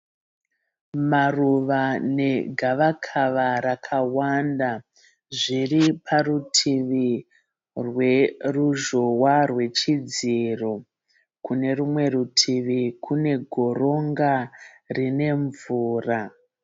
Maruva negavakava rakawanda zviri parutivi rweruzhowa rwechidziro. Kune rumwe rutivi kune goronga rine mvura.